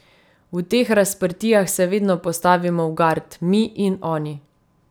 V teh razprtijah se vedno postavimo v gard, mi in oni.